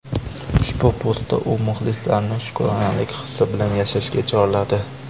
Ushbu postda u muxlislarini shukronalik hissi bilan yashashga chorladi.